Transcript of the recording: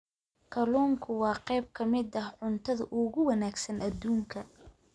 Kalluunku waa qayb ka mid ah cuntada ugu wanaagsan adduunka.